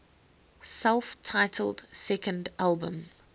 self titled second album